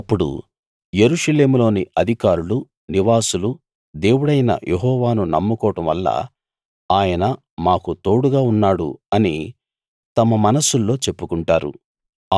అప్పుడు యెరూషలేములోని అధికారులు నివాసులు దేవుడైన యెహోవాను నమ్ముకోవడం వల్ల ఆయన మాకు తోడుగా ఉన్నాడు అని తమ మనస్సుల్లో చెప్పుకుంటారు